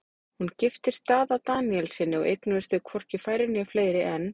Hún giftist Daða Daníelssyni og eignuðust þau hvorki færri né fleiri en